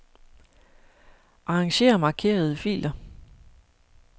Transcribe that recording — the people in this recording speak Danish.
Arranger markerede filer.